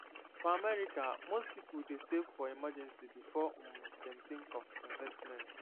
for america most people dey save for emergency before um dem think of investment